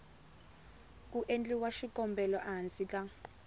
ku endliwa xikombelo ehansi ka